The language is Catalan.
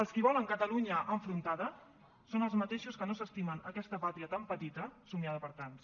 els qui volen catalunya enfrontada són els mateixos que no s’estimen aquesta pàtria tan petita somiada per tants